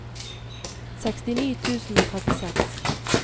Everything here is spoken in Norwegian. sekstini tusen og trettiseks